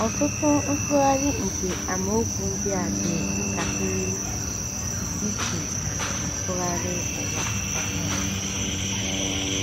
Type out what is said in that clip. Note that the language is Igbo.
Ọtụtụ nsụgharị nke amaokwu a dị ntakịrị iche na Nsụgharị Ụwa Ọhụrụ.